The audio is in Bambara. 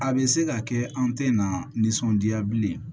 A bɛ se ka kɛ an tɛ na nisɔndiya bilen